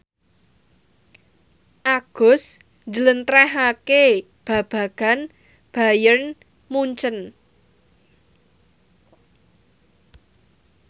Agus njlentrehake babagan Bayern Munchen